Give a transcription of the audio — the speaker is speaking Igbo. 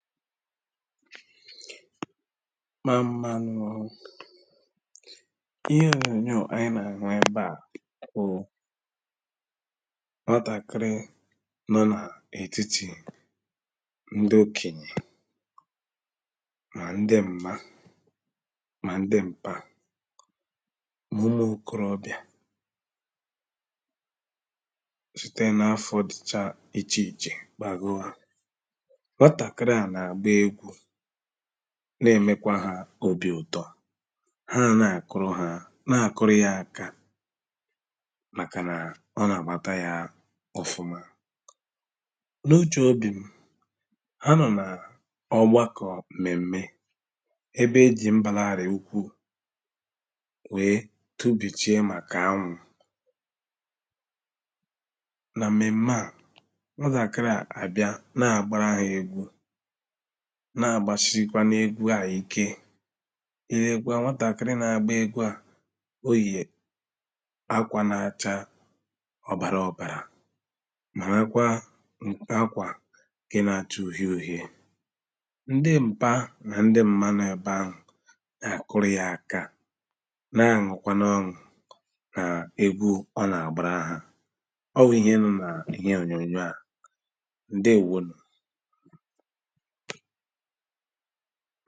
Mmāmmānù ō Ihe ònyònyò ànyị nà-àhụ ebe à bụ̀ nwatàkiri nọ nà-ètiti ndị okènyè mà ndị m̀ma mà ndị m̀pa nà umù okorobìā site n’afọ̀r dịchà ichè ichè gbagoō nwatàkiri à nà-àgba egwū nà-èmekwa ha obì ụ̀tọ hà ná-àkụrụ ha, nà àkụrụ ya aka màkà nà ọ nà-àgbata ya ọ̀fụma. N’ uchè obì m ha nọ̀ nà ọ̀gbakọ̀ m̀mèm̀mè ebe e jị̀ m̀baralị̇̀ ukwuū weē tubìchiē màkà anwụ̄ nà m̀mèm̀mè à, nwatàkiri à àbiā nà àgbara ha egwū nà-àgbasikwanu egwū à ike ì lèēkwa nwatàkịrị nà-àgba egwū à, o yè akwa nà acha ọbàrà ọ̀bàrà marakwa akwa ǹke nà acha ùhiē ùhiē ndị m̀pa nà ndị m̀ma nọ ebe ahụ̀ nà àkuru ya aka nà anùrikwa ọṅụ̀ nà egwū ọ nà àgbara ha ọ wụ̀ ihe nọ nà ihe ònyònyò à Ǹdéēwónù